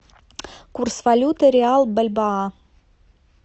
курс валюты реал бальбоа